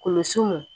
Kulusiw